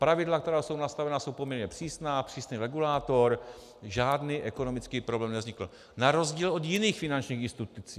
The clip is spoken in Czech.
Pravidla, která jsou nastavena, jsou poměrně přísná, přísný regulátor, žádný ekonomický problém nevznikl, na rozdíl od jiných finančních institucí.